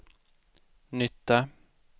nytta